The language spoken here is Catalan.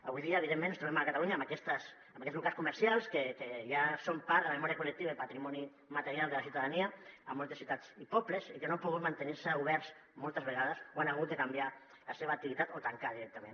avui dia evidentment ens trobem a catalunya amb aquests locals comercials que ja són part de la memòria col·lectiva i patrimoni material de la ciutadania a moltes ciutats i pobles i que no han pogut mantenir se oberts moltes vegades o han hagut de canviar la seva activitat o tancar directament